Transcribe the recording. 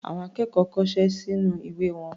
Àwọn akẹ́kọ̀ọ́ kọṣẹ́ sínú ìwé wọn.